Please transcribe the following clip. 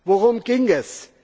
Worum ging es?